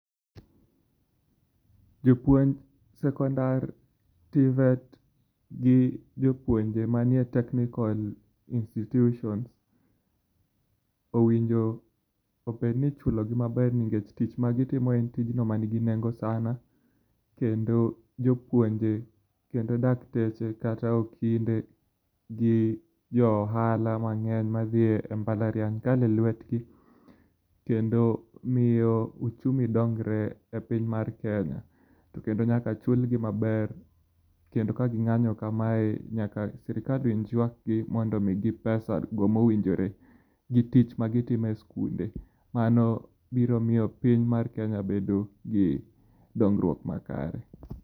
Jopuonj sekondar, TVET, gi jopuonje mantie e technical institutions owinjo obed niichulogi maber nikech tich magitimo en tijno manigi nengo sana, kendo jopuonje, kendo dakteche, kata okinde, gijoohala mang'eny madhie mbalariany kale lwetgi, kendo mio uchumi dongre epiny mar Kenya. To kendo nyaka chulgi maber. Kendo kaging'anyo kamae nyaka sirkal winj ywakgi mondo migi pesa mowinjore gi tich magitime skunde. Mano biro mio piny mar Kenya bedo gi dongrwuok makare.